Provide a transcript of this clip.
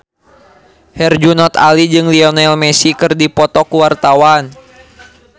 Herjunot Ali jeung Lionel Messi keur dipoto ku wartawan